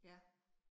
Ja